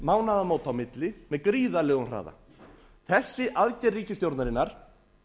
mánaðamóta á milli með gríðarlegum hraða þessi aðgerð ríkisstjórnarinnar